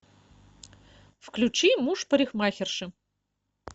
включи муж парикмахерши